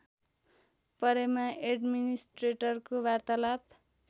परेमा एड्मिनिस्ट्रेटरको वार्तालाप